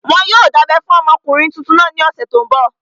Wọn yóò dábẹ́ fún ọmọkùnrin tuntun náà ní ọ̀sẹ̀ tó n bọ̀